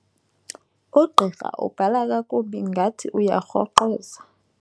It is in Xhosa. Ugqirha ubhala kakubi ngokungathi uyarhoqoza.